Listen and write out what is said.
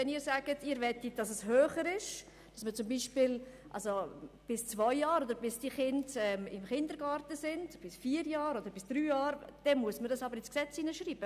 Wenn Sie möchten, dass höher angesetzt wird, beispielsweise bis zwei, drei oder vier Jahre oder bis die Kinder im Kindergarten sind, dann muss man es in das Gesetz hineinschreiben.